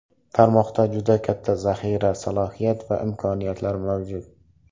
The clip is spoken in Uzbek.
Tarmoqda juda katta zaxira, salohiyat va imkoniyatlar mavjud.